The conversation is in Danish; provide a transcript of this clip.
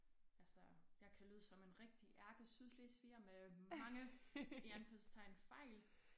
Altså jeg kan lyde som en rigtig ærkesydslesviger med mange i anførselstegn fejl